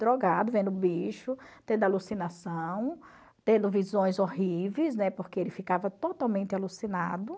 Drogado, vendo bicho, tendo alucinação, tendo visões horríveis, né, porque ele ficava totalmente alucinado.